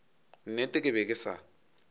nnete ke be ke sa